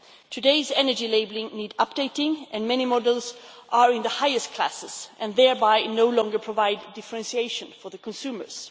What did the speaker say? Today's energy labelling needs updating many models are in the highest classes and thereby no longer provide differentiation for consumers.